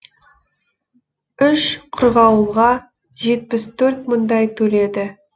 үш қырғауылға жетпіс төрт мыңдай төледі